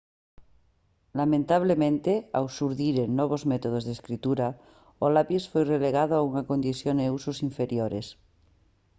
lamentablemente ao xurdiren novos métodos de escritura o lapis foi relegado a unha condición e usos inferiores